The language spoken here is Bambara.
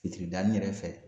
Fitiridani yɛrɛ fɛ.